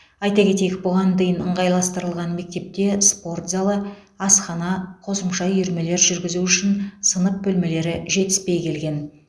айта кетейік бұған дейін ыңғайластырылған мектепте спорт залы асхана қосымша үйірмелер жүргізу үшін сынып бөлмелері жетіспей келген